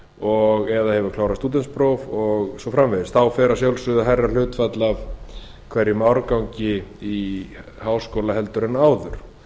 og eða hefur klárað stúdentspróf og svo framvegis þá fer að sjálfsögðu hærra hlutfall af hverjum árgangi í háskóla heldur en áður